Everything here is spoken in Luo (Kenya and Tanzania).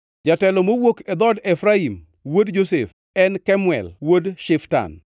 jatelo mowuok e dhood Efraim wuod Josef, en Kemuel wuod Shiftan;